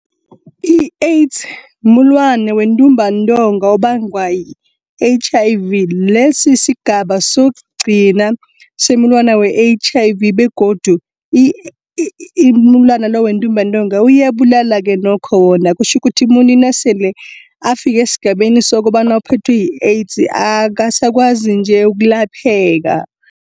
I-AIDS mumulwana wentumbantonga obangwa yi-H_I_V. Lesi, sigaba sokugcina somulwana we-H_I_V begodu mulwana lo wentumbantonga uyabulala-ke nokho wona. Kutjho kuthi umuntu nasele afike esigabeni sokobana uphethwe yi-AIDS akasakwazi nje ukulapheka.